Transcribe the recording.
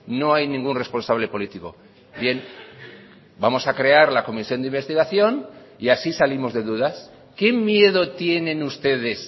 no hay ningún responsable político bien vamos a crear la comisión de investigación y así salimos de dudas qué miedo tienen ustedes